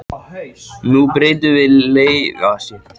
Nú breytum við um leikaðferð í seinni hálfleik.